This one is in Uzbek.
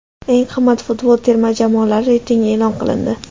Eng qimmat futbol terma jamoalari reytingi e’lon qilindi !